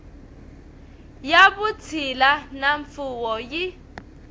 ya vutshila na mfuwo yi